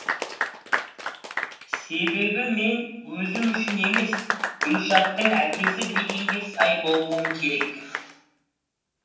себебі мен өзім үшін емес гүлшаттың әкесі дегенге сай болуым керек